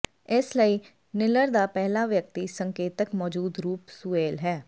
ਇਸਲਈ ਨਿੋਲਰ ਦਾ ਪਹਿਲਾ ਵਿਅਕਤੀ ਸੰਕੇਤਕ ਮੌਜੂਦ ਰੂਪ ਸੂਏਲ ਹੈ